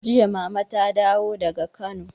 Jiya mama ta dawo daga Kano.